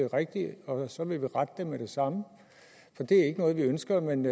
rigtigt og så vil vi rette det med det samme det er ikke noget vi ønsker men